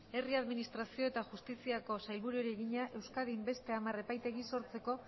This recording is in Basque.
herri administrazio eta justiziako sailburuari egina euskadin beste hamar epaitegi sortzeko